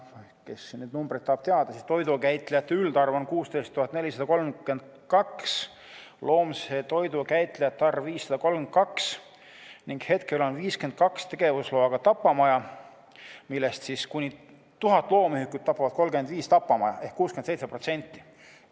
Kes neid numbreid tahab teada, siis toidukäitlejate üldarv on 16 432, loomse toidu käitlejate arv 532 ning hetkel on 52 tegevusloaga tapamaja, millest kuni 1000 loomühikut tapavad 35 tapamaja ehk 67%.